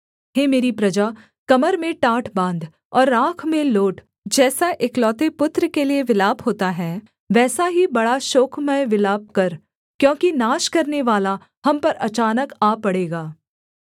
हे मेरी प्रजा कमर में टाट बाँध और राख में लोट जैसा एकलौते पुत्र के लिये विलाप होता है वैसा ही बड़ा शोकमय विलाप कर क्योंकि नाश करनेवाला हम पर अचानक आ पड़ेगा